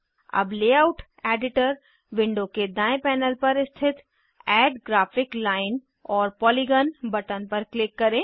अब layout editor window के दायें पैनल पर स्थित add graphic line or polygon button पर क्लिक करें